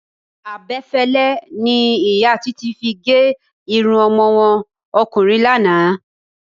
Abe̩fé̩lé̩ ni ìyá Titi fi ge̩ irun o̩mo̩ wo̩n o̩kùnrin lánàá.